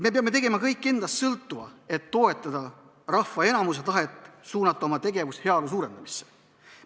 Me peame tegema kõik endast sõltuva, et toetada rahva enamuse tahet suunata oma tegevus heaolu suurendamisse.